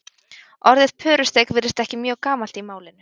Orðið pörusteik virðist ekki mjög gamalt í málinu.